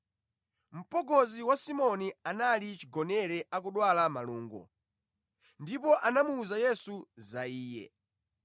Mpongozi wa Simoni anali chigonere akudwala malungo, ndipo anamuwuza Yesu za iye.